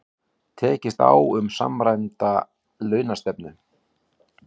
Tekist á um samræmda launastefnu